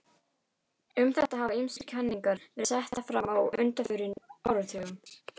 Um þetta hafa ýmsar kenningar verið settar fram á undanförnum áratugum.